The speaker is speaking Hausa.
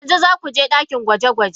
Yanzu za ku je ɗakin gwaje-gwaje?